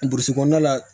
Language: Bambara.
Burusi kɔnɔna la